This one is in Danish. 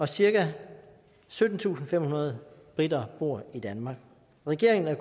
cirka syttentusinde og femhundrede briter bor i danmark regeringen er